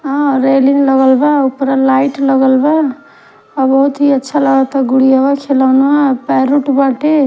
railing लगल बा उपरा लाइट लगल बा और बहुत ही अच्छा लगता गुड़ीवा खेलौवनवा --